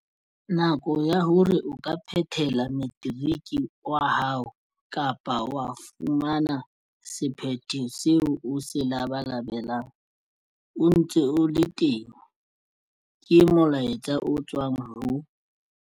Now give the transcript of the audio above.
Nako ya hore o ka phethela materiki wa hao kapa wa fumana sephetho seo o se labalabelang e ntse e le teng, ke molaetsa o tswang ho